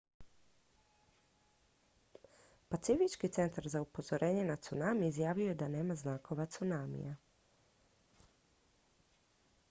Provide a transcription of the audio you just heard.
pacifički centar za upozorenje na tsunami izjavio je da nema znakova tsunamija